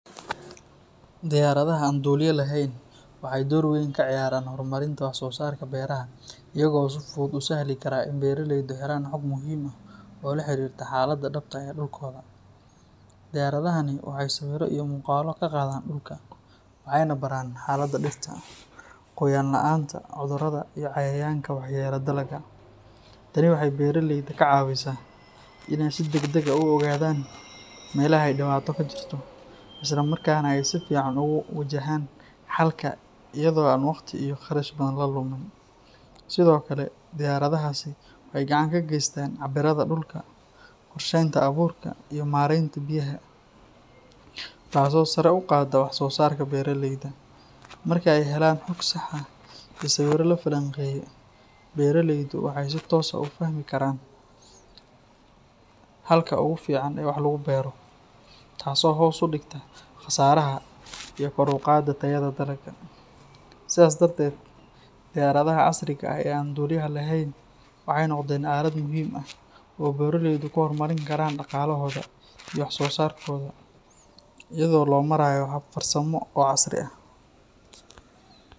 Diyaradaha an duliyaha lehen waxy dor wen kaciyaraan wax sosarka beraha iyado si ficaan usahli kar inay helaan hoog muxiim ah oo laharirta halada dabta ah ee dulka, diyaradahani waxay mugaalo kagadaan, waxayna baraan diirta, qoyaan laanta , taanin waxay beraleyda kacawisa inay si dagdag ah uogadan melaha ay dibatada kajirto, islamarkana ay wagti iyo qarashka badan, Sidhokale waxay gacan kageystaan cabirada dulka, warshenta aburka taaso saro ugado wax sosarka beraleydha, marka ay helaan hog sah ah iyo sawiro, beraleydu waxay si toos ah uafahmi karaan halka ogufican oo wah lagubero, taaso hos ufigta qasaraha iyo dulqatka tayada dalaqa, sidad darded diyaradaha casriga ah oo an duliyaha laheen, waxay nogden alad muxiim ah oo ogan karaan daqalahoda iyo wax sosarkoda iyado lomarayo hab casri ah.